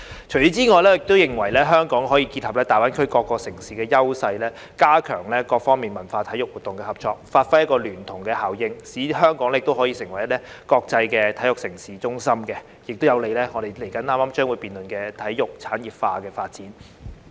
此外，我認為香港可以結合大灣區各城市的優勢，加強各方在文化及體育活動的合作，發揮聯動效應，使香港成為國際體育盛事中心，有利於我們稍後將會辯論的體育產業化的發展。